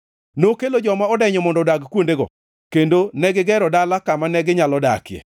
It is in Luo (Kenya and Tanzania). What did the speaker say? nokelo joma odenyo mondo odag kuondego, kendo negigero dala kama neginyalo dakie.